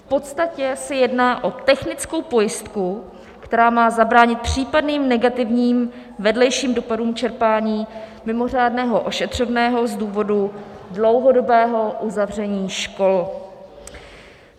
V podstatě se jedná o technickou pojistku, která má zabránit případným negativním vedlejším dopadům čerpání mimořádného ošetřovného z důvodu dlouhodobého uzavření škol.